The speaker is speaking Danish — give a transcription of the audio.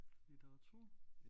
Litteratur